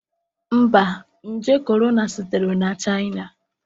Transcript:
Mba, nje korona sitere na China.